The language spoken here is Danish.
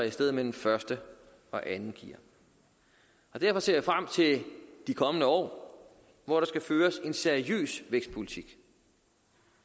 et sted mellem første og andet gear derfor ser jeg frem til de kommende år hvor der skal føres en seriøs vækstpolitik